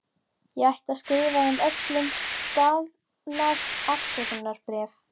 Ég ætti að skrifa þeim öllum staðlað afsökunarbréf.